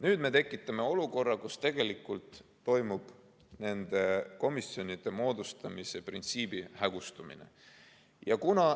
Nüüd me tekitame aga olukorra, kus tegelikult toimub nende komisjonide moodustamise printsiibi hägustumine.